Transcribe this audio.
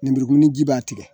Lemurukununi ji b'a tigɛ